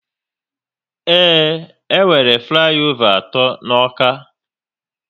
Ee, e nwere flayova atọ n'Awka